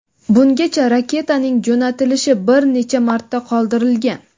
Bungacha raketaning jo‘natilishi bir necha marta qoldirilgan.